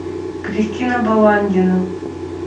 кристина баландина